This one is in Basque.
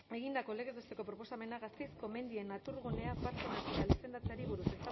egindako legez besteko proposamena gasteizko mendien naturgunea parke natural izendatzeari buruz